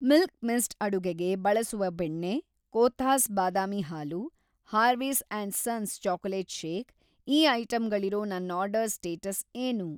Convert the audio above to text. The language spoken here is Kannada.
ಮಿಲ್ಕಿ ಮಿಸ್ಟ್ ಅಡುಗೆಗೆ ಬಳಸುವ ಬೆಣ್ಣೆ, ಕೋಥಾಸ್ ಬಾದಾಮಿ ಹಾಲು, Harvey's and sons chocolate shake, ಈ ಐಟಂಗಳಿರೋ ನನ್‌ ಆರ್ಡರ್‌ ಸ್ಟೇಟಸ್‌ ಏನು?